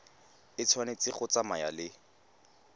e tshwanetse go tsamaya le